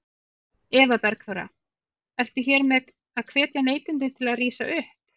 Eva Bergþóra: Ertu hér með að hvetja neytendur til að rísa upp?